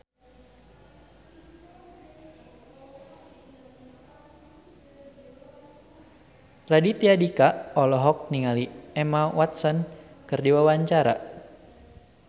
Raditya Dika olohok ningali Emma Watson keur diwawancara